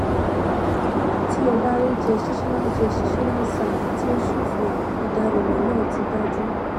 ti o ba rii cs] gestational gestational sac ti o ṣofo idanimọ naa ti daju